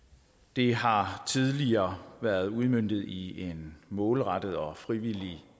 det har tidligere været udmøntet i en målrettet og frivillig